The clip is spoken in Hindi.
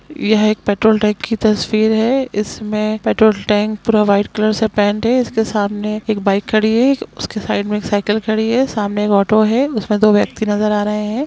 यह एक पेट्रोल टैंक की तस्वीर है इसमे पेट्रोल टेंक पूरा व्हाइट कलर से पैंट है इसके सामने एक बाइक खड़ी है उसके साइड मे एक साइकिल खड़ी है सामने एक ऑटो है उसमे दो व्यक्ति नजर आ रहे है ।